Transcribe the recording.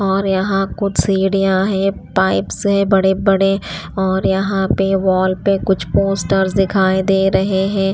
और यहाँ कुछ सीढ़ियां है पाइप्स है बड़े-बड़े और यहाँ पे वॉल पे कुछ पोस्टर्स दिखाई दे रहे हैं।